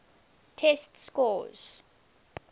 test scores